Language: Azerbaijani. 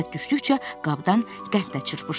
Fürsət düşdükcə qabdan qənd də çırpışdırırdı.